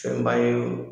Fɛnba ye o